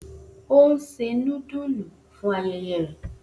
O n se nudulu fun ayẹyẹ rẹ